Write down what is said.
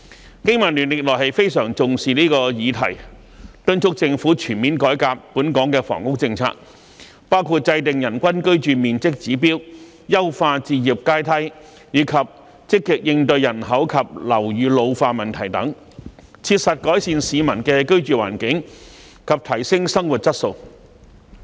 香港經濟民生聯盟歷來非常重視這項議題，敦促政府全面改革本港的房屋政策，包括制訂人均居住面積指標、優化置業階梯、積極應對人口及樓宇老化等問題，切實改善市民的居住環境及提升生活質素。